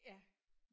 Ja